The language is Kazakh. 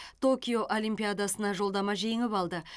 токио олимпиадасына жолдама жеңіп алды